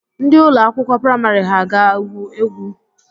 Ndị ụlọ akwụkwọ prịmarị ha ga-agwụ egwu?